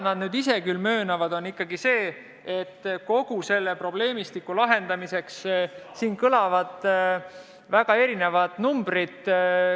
Nad ise möönavad küll seda, et kogu selle probleemistiku lahendamiseks on kõlanud väga erinevad numbrid.